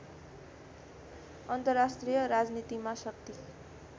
अन्तर्राष्ट्रिय राजनीतिमा शक्ति